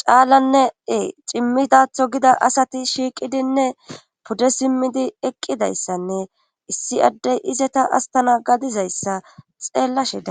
caalanne ee cimmidatho gida asati shiiqidinne pude simmidi eqqidayssanne issi addey izeta astana gadizayssa xeellashe a